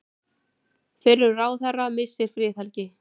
Fyrrum ráðherra missir friðhelgi